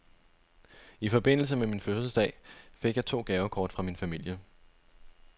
I forbindelse med min fødselsdag fik jeg to gavekort fra min familie.